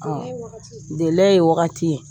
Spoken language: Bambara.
ye wagati ye. ye wagati ye.